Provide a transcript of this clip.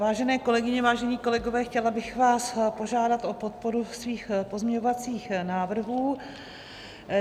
Vážené kolegyně, vážení kolegové, chtěla bych vás požádat o podporu svých pozměňovacích návrhů.